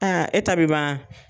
Aa e ta bi ban ?